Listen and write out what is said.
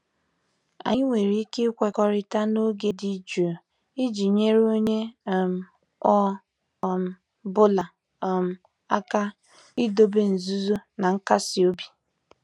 Anyị nwere ike ikwekọrịta n'oge dị jụụ iji nyere onye um ọ um bụla um aka idobe nzuzo na nkasi obi?